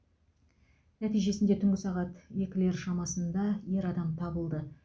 нәтижесінде түнгі сағат екілер шамасында ер адам табылды